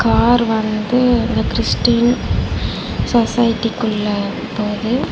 Car வந்து the Christian society குள்ள போது.